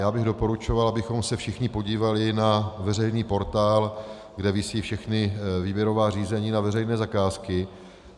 Já bych doporučoval, abychom se všichni podívali na veřejný portál, kde visí všechna výběrová řízení na veřejné zakázky.